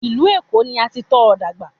Ìlú Èkó ni a ti tọ́ ọ dàgbà